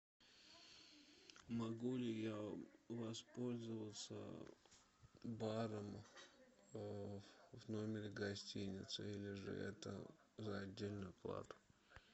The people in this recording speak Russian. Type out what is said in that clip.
могу ли я воспользоваться баром в номере гостиницы или же это за отдельную плату